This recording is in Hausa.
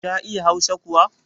Ta iya hausa kuwa?